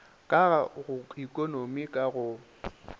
ka go ekonomi ka go